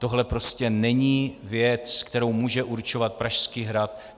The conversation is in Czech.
Tohle prostě není věc, kterou může určovat Pražský hrad.